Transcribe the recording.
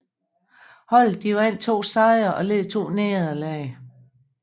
Holdet vandt to sejre og led to nederlag